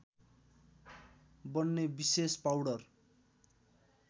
बन्ने विशेष पाउडर